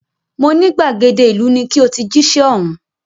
Mo ní gbàgede ìlú ni ki o ti jíṣẹ́ ọ̀hún